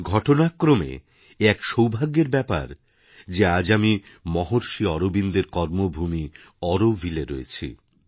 ঘটনাক্রমে এ এক সৌভাগ্যেরব্যাপার যে আজ আমি মহর্ষি অরবিন্দের কর্মভূমি অরোভিলএ রয়েছি